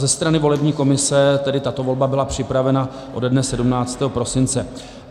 Ze strany volební komise tedy tato volba byla připravena ode dne 17. prosince.